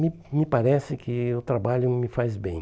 Me me parece que o trabalho me faz bem.